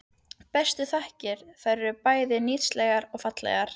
Bestu þakkir- þær eru bæði nytsamlegar og fallegar.